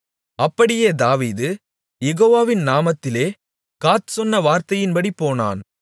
அப்படியே தாவீது யெகோவாவின் நாமத்திலே காத் சொன்ன வார்த்தையின்படி போனான்